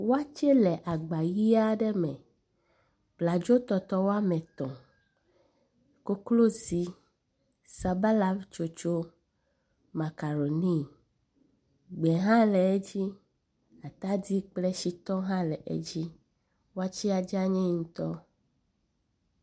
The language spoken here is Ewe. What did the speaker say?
Waste le agba ʋɛ̃ aɖe me, abladzotɔtɔ woame etɔ̃, koklozi, sabalatsotso, makaroni, gbe hã le edzi, atadi kple tsitɔ hã la edzi. Watsea dzani ŋutɔ.